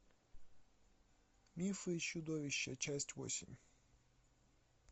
мифы и чудовища часть восемь